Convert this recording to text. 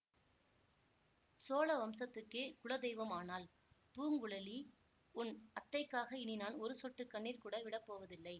சோழ வம்சத்துக்கே குல தெய்வம் ஆனாள் பூங்குழலி உன் அத்தைக்காக இனி நான் ஒரு சொட்டு கண்ணீர் கூட விடப்போவதில்லை